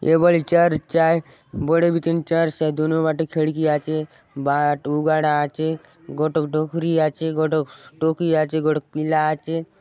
ये बले चर्च आये बड़े बीती चर्च आये दुनो बाते खिड़की आचे बाट उघाड़ा आचे गोटोक डोकरी आचे गोटोक टोकी आचे गोटोक पीला आचे।